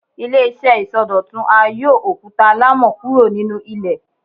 Ile-iṣẹ isọdọtun a yóò okuta alamọ kuro ninu ilè